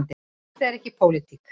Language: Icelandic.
Þetta er ekki pólitík.